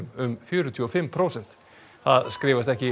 um fjörutíu og fimm prósent það skrifast ekki